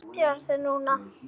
Ég bjarga þér núna.